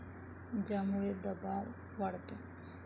ज्यामुळे दबाव वाढतो.